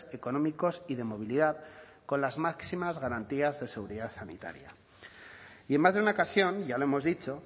económicos y de movilidad con las máximas garantías de seguridad sanitaria y en más de una ocasión ya lo hemos dicho